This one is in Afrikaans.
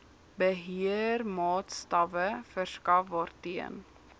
beheermaatstawwe verskaf waarteen